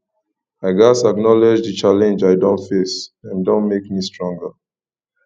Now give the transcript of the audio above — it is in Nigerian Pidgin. i gats acknowledge the challenges i don face dem don make me stronger